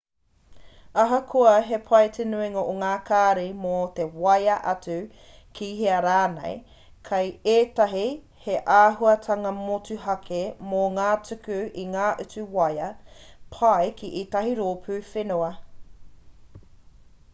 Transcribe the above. ahakoa he pai te nuinga o ngā kāri mō te waea atu ki hea rānei kei ētahi he āhuatanga motuhake mō te tuku i ngā utu waea pai ki ētahi rōpū whenua